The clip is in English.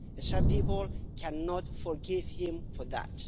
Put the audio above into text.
Some people cannot forgive him for that.